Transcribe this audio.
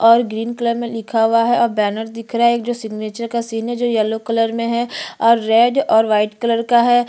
और green colour में लिखा हुआ है और बैनर दिख रहा है एक जो सिग्नेचर का सीन है जो येलो कलर में है और रेड और व्हाइट कलर का है।